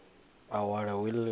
a wale wili o i